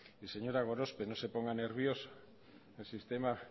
señora gorospe no se ponga nerviosa el sistema